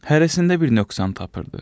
Hərəsində bir nöqsan tapırdı.